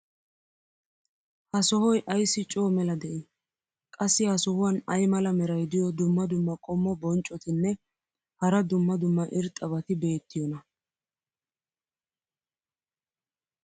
ha sohoy ayssi coo mela de'ii? qassi ha sohuwan ay mala meray diyo dumma dumma qommo bonccotinne hara dumma dumma irxxabati beetiyoonaa?